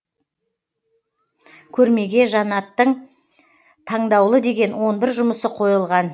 көрмеге жанаттың таңдаулы деген он бір жұмысы қойылған